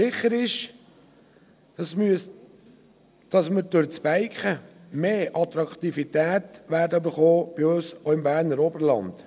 Sicher ist, dass wir durch das Biken mehr Attraktivität bekommen werden, auch bei uns im Berner Oberland.